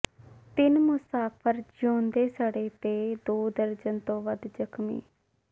ਤਿੰਨ ਮੁਸਾਫਰ ਜਿਊਂਦੇ ਸੜੇ ਤੇ ਦੋ ਦਰਜਨ ਤੋਂ ਵੱਧ ਜ਼ਖ਼ਮੀ